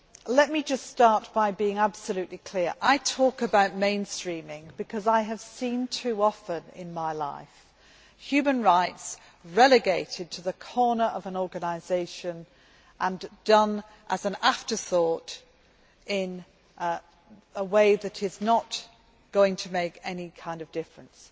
Let me start by being absolutely clear I talk about mainstreaming because I have seen, too often in my life, human rights relegated to the corner of an organisation and done as an afterthought in a way that is not going to make any kind of difference.